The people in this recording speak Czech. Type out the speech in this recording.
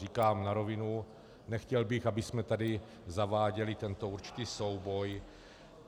Říkám na rovinu, nechtěl bych, abychom tady zaváděli tento určitý souboj.